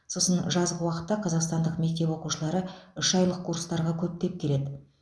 сосын жазғы уақытта қазақстандық мектеп оқукшылары үш айлық курстарға көптеп келеді